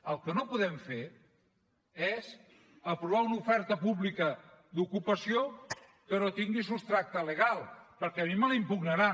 el que no podem fer és aprovar una oferta pública d’ocupació que no tingui substrat legal perquè a mi me la impugnaran